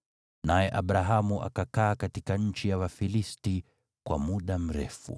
Naye Abrahamu akakaa katika nchi ya Wafilisti kwa muda mrefu.